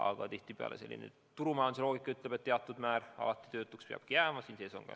Samas tihtipeale selline turumajanduse loogika ütleb, et alati peabki teatud hulk inimesi tööta olema.